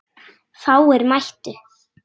Fáir mættu.